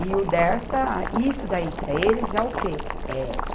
E o Dersa, isso daí para eles é o quê? É